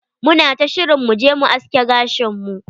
Muna ta shirin mu je mu aske gashin mu.